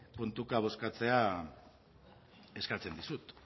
puntuka bozkatzea eskatzen dizut